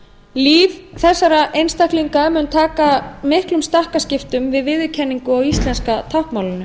líf þessara einstaklinga mun taka miklum stakkaskiptum við viðurkenningu á íslenska táknmálinu